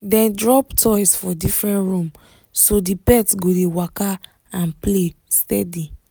dem drop toys for different room so the pet go dey waka and play steady